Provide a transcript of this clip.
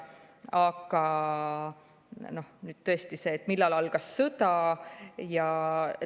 Aga tõesti, millal algas sõda?